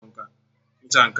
Ha ghere nte n'ọkụ.